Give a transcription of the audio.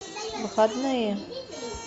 выходные